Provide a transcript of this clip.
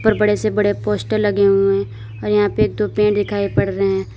ऊपर बड़े से बड़े पोस्टर लगे हुए और यहां पे एक दो पेड़ दिखाइ पड़ रहे हैं।